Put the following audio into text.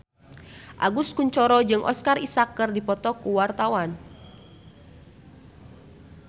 Agus Kuncoro jeung Oscar Isaac keur dipoto ku wartawan